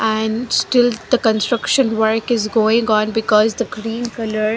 and still the constitution work is going on because the green colour--